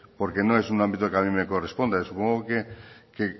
porque no es un ámbito que a mí me corresponde supongo que